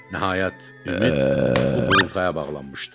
Nəhayət, ümid bu qurultaya bağlanmışdı.